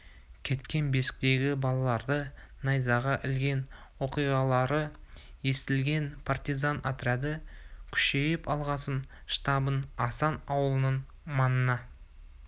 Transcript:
кеткен бесіктегі балаларды найзаға ілген оқиғалары естілген партизан отряды күшейіп алғасын штабын асан ауылының маңына